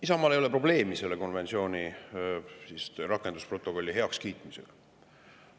Isamaal ei ole probleemi selle konventsiooni protokolli heakskiitmisega.